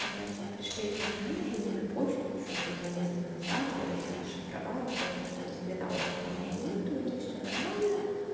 значит пришли эти анализы мне на почту ещё бля два месяца назад я их расшифровала поняла что нихрена онко у меня нет у меня всё нормально